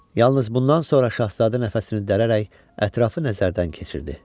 Yalnız bundan sonra Şahzadə nəfəsini dərirək ətrafı nəzərdən keçirdi.